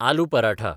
aloo paratha